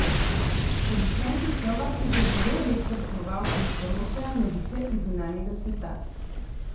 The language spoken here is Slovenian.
Producenti šova sicer zelo redko tekmovalcem sporočajo novice iz zunanjega sveta.